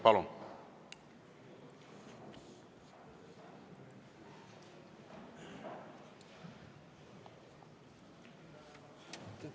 Palun!